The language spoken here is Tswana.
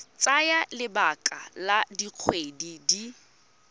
tsaya lebaka la dikgwedi di